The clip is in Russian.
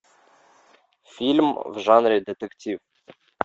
фильм в жанре детектив